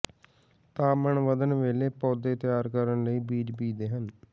ਤਾਪਮਾਨ ਵਧਣ ਵੇਲੇ ਪੌਦੇ ਤਿਆਰ ਕਰਨ ਲਈ ਬੀਜ ਬੀਜਦੇ ਹਨ